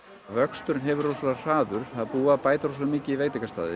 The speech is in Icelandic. vöxturinn hefur verið rosalega hraður það er búið að bæta rosalega mikið í veitingastaði